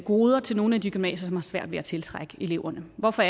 goder til nogle af de gymnasier som har svært ved at tiltrække eleverne hvorfor